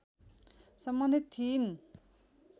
सम्बन्धित थिइन्